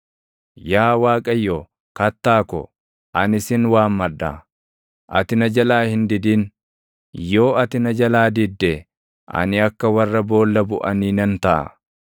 Yaa Waaqayyo, Kattaa ko, ani sin waammadha; ati na jalaa hin didin. Yoo ati na jalaa didde, ani akka warra boolla buʼanii nan taʼa.